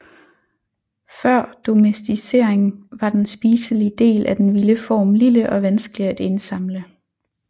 Før domesticering var den spiselige del af den vilde form lille og vanskelig at indsamle